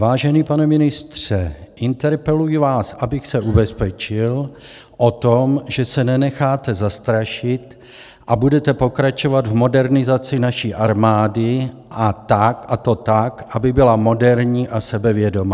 Vážený pane ministře, interpeluji vás, abych se ubezpečil o tom, že se nenecháte zastrašit a budete pokračovat v modernizaci naší armády, a to tak, aby byla moderní a sebevědomá.